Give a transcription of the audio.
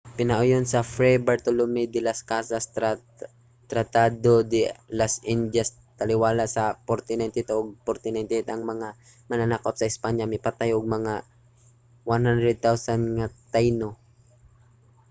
pinauyon sa fray bartolomé de las casas tratado de las indias taliwala sa 1492 ug 1498 ang mga mananakop sa espanya mipatay og mga 100,000 nga taíno